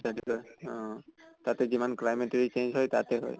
অহ তাতে যিমান climate ৰ ই change হয় তাতে হয়।